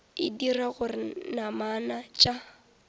e dira gore namana tša